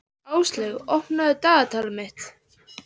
Áslaug, opnaðu dagatalið mitt.